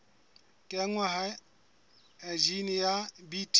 kenngwa ha jine ya bt